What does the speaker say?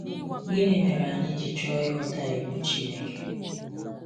Gịnị mere anyị ji chọọ ịghọta iwu Chineke?